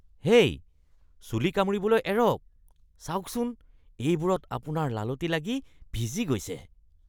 হেই! চুলি কামুৰিবলৈ এৰক। চাওকচোন, এইবোৰত আপোনাৰ লালটি লাগি ভিজি গৈছে।